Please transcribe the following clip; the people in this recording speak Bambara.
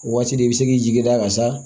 O waati de i bɛ se k'i jigi da ka sa